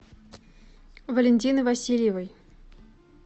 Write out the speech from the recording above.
валентины васильевой